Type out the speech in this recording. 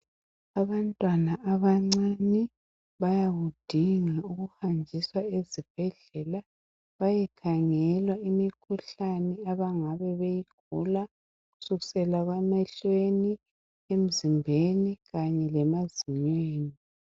Abantwana abancane bayakudinga ukuhanjiswa ezibhedlela bayekhangelwa imikhuhlane abangabe beyigula kusukisela emehlweni emzimbeni kanye lemazinyweni